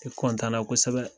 Ne kɔntanna kosɛbɛ